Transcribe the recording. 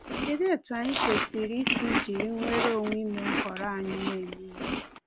Kedụ etu anyị kwesịrị isi jiri nwereonwe ime nhọrọ anyị na-eme Ihe?